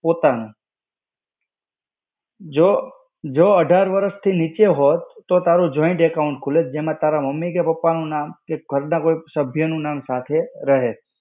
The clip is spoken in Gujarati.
પોતાનું. જો, જો અઢાર વરસ થી નીચે હોત, તો તારું joint account ખુલત જેમાં તારા મમ્મી કે પપ્પા નું નામ કે કોઇક ને કોઇક સભ્ય નું નામ સાથે રહે.